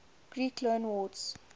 greek loanwords